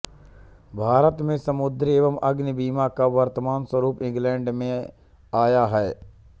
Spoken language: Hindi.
भारत में समुद्री एवं अग्नि बीमा का वर्तमान स्वरूप इंग्लैण्ड से आया है